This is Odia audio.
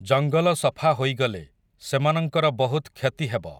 ଜଙ୍ଗଲ ସଫା ହୋଇଗଲେ, ସେମାନଙ୍କର ବହୁତ୍ କ୍ଷତି ହେବ ।